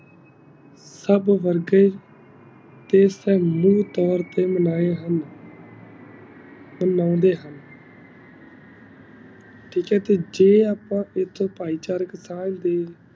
ਸਬ ਵਰਗੇ ਤੇ ਸੰਗੀ ਤੋਰ ਤੇ ਮਨੀ ਹੁਣ ਤੇ ਮੰਗ ਦੇ ਹੁਣ ਟਾਕ ਹੈ ਜੀ ਜੇ ਅਪਾ ਇਕ ਇਕ ਫਾਇ ਚਾਰੇ ਕਿਥਾ ਆਈ ਗਈ